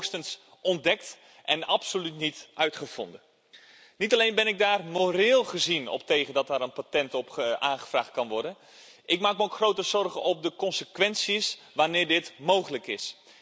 Dit is hoogstens ontdekt en absoluut niet uitgevonden. Niet alleen ben ik er moreel gezien op tegen dat daar een patent op aangevraagd kan worden, ik maak me ook grote zorgen over de consequenties wanneer dit mogelijk is.